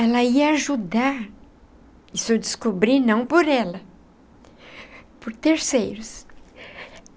Ela ia ajudar... isso eu descobri não por ela... por terceiros.